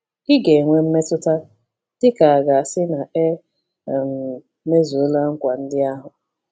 Ị ga-enwe mmetụta dị ka a ga-asị na e um mezuola nkwa ndị ahụ.